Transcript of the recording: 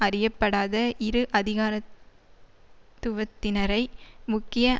அறியப்படாத இரு அதிகாரத்துவத்தினரை முக்கிய